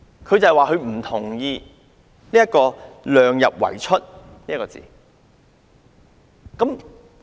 她表示不同意"量入為出"一詞。